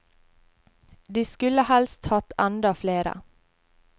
De skulle helst hatt enda flere.